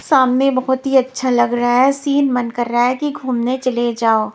सामने बहुत ही अच्छा लग रहा है सिन मन कर रहा है कि घूमने चले जाओ।